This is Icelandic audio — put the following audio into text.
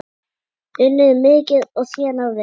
Unnið mikið og þénað vel.